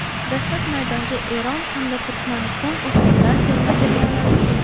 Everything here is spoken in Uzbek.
Dastlab maydonga Eron hamda Turkmaniston o‘smirlar terma jamoalari tushdi.